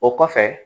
O kɔfɛ